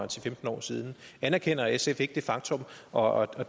til femten år siden anerkender sf ikke det faktum og at